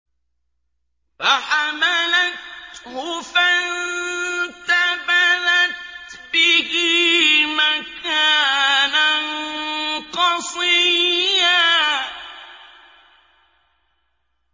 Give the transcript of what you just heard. ۞ فَحَمَلَتْهُ فَانتَبَذَتْ بِهِ مَكَانًا قَصِيًّا